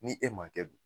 Ni e ma kɛ dun